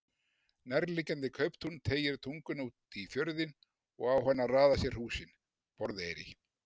Nærliggjandi kauptún teygir tunguna út í fjörðinn og á hana raða sér húsin: Borðeyri.